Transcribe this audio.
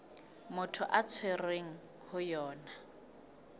motho a tshwerweng ho yona